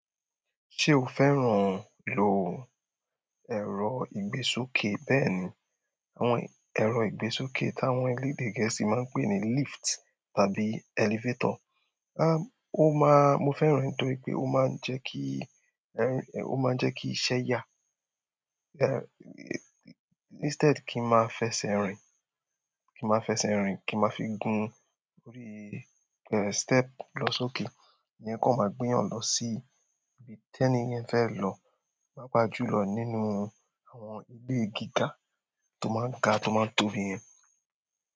Ṣé o fẹ́ràn lò ẹ̀rọ ìgbésókè? Bẹ́ẹ̀ni, àwọn ẹ̀rọ ìgbésókè tí àwọn elédè gẹ̀ẹ́sì máa n pè ní lift tàbí elevator. O máa, mo fẹ́ràn re nitoripè ó máa ń jẹ́ kí, ó máa ń jẹ́ kí iṣẹ́ yá. Instead kí n máa fẹsẹ̀ rìn, kí n máa fẹsẹ̀ rìn, kí n máa fi gun orí step lọ sókè. Ìyẹn kón máa gbé yàn lọ sí ibi tẹ́níyẹn fẹ́ lọ, paapà jú lọ nínú àwọn ilé gíga tó máa ń ga tó máa ń tóbi yẹn.